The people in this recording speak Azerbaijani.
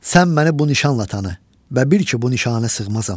Sən məni bu nişanla tanı və bil ki bu nişanə sığmazam.